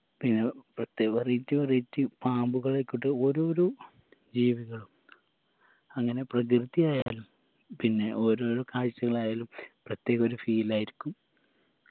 പിന്ന പ്രത്യേ variety veriety പാമ്പുകളായിക്കോട്ടെ ഓരോരോ ജീവികളും അങ്ങനെ പ്രകൃതി ആയാലും പിന്നെ ഓരോരോ കാഴ്ചകളായാലും പ്രത്യേകൊരു feel ആയിരിക്കും